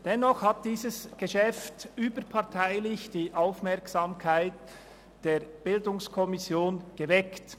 Dennoch hat dieses Geschäft überparteilich die Aufmerksamkeit der BiK geweckt.